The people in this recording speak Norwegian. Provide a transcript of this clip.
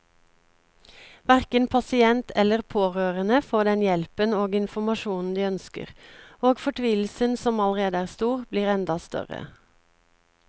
Hverken pasient eller pårørende får den hjelpen og informasjonen de ønsker, og fortvilelsen som allerede er stor, blir enda større.